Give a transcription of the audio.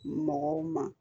Mɔgɔw ma